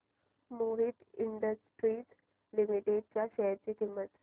Mohit industries limited च्या share ची किंमत